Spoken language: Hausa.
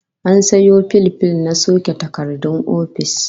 An sayo fil fil na soke takardun ofis